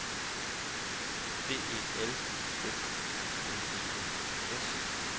D E L F I N E N S